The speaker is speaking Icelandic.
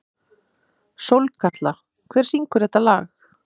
Sólkatla, hver syngur þetta lag?